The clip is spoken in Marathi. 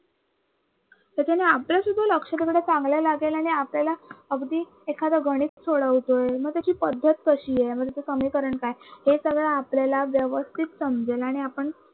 त्याच्याने अभ्यासातही लक्ष चांगल लागेल आणि आपल्याला अगदी एखाद गणित सोडवतोय मग त्याची पद्धत कशी आहे. मग त्याच समीकरण काय हे सगळं आपल्याला व्यवस्थित समजेल आणि आपण